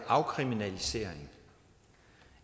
afkriminalisering